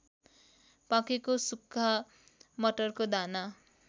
पाकेको सुक्खा मटरको दाना